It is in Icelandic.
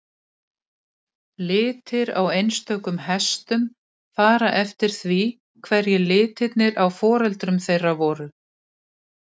Litir á einstökum hestum fara eftir því hverjir litirnir á foreldrum þeirra voru.